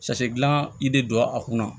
gilan i de don a kunna